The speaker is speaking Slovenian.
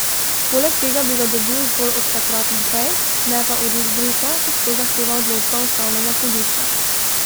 Poleg tega bi ga dobil zgolj od takrat naprej, ne pa od izbrisa, kot to zahteva odločba ustavnega sodišča.